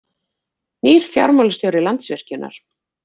Nýr fjármálastjóri Landsvirkjunar